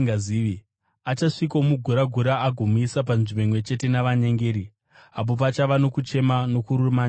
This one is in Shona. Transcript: Achasvikomugura-gura agomuisa panzvimbo imwe chete navanyengeri apo pachava nokuchema nokurumanya kwameno.